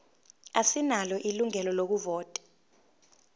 asinalo ilungelo lokuvota